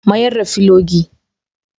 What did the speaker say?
Mayar da filogi.